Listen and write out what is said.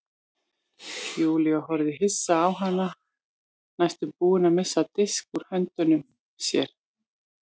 Júlía horfði hissa á hana næstum búin að missa disk úr höndunum á sér.